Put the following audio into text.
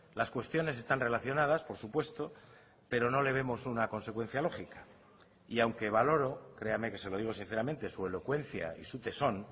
las cuestiones están relacionadas por supuesto pero no le vemos una consecuencia lógica y aunque valoro créame que se lo digo sinceramente su elocuencia y su tesón